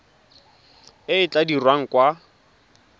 e e tla dirwang kwa